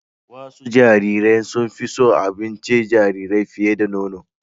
Wasu jariran sun fi son abincin jarirai fiye da nono